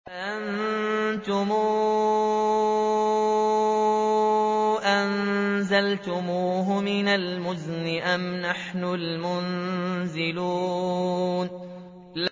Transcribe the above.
أَفَرَأَيْتُمُ الْمَاءَ الَّذِي تَشْرَبُونَ